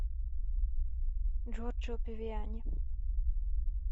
джорджио павиани